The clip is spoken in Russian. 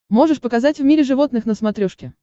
можешь показать в мире животных на смотрешке